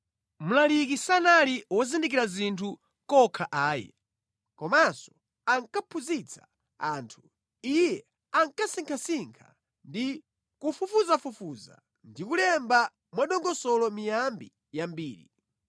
Mlaliki sanali wozindikira zinthu kokha ayi, komanso ankaphunzitsa anthu. Iye ankasinkhasinkha ndi kufufuzafufuza ndi kulemba mwadongosolo miyambi yambiri.